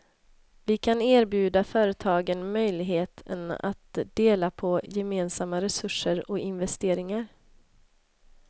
Vi kan erbjuda företagen möjligheten att dela på gemensamma resurser och investeringar.